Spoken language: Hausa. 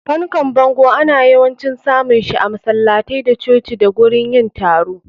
Fankan bango ana yawancin samun shi a masalatai da coci da gurin yin taro.